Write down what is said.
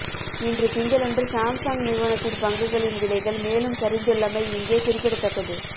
இன்று திங்களன்று சாம்சுங் நிறுவனத்தின் பங்குகளின் விலைகள் மேலும் சரிந்துள்ளமை இங்கே குறிப்பிடத்தக்கது